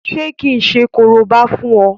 Ṣé kí n ṣe korobá fún ọ?